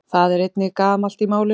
það er einnig gamalt í málinu